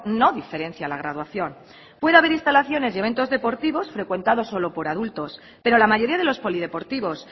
no diferencia la graduación puede haber instalaciones y eventos deportivos frecuentados solo por adultos pero la mayoría de los polideportivos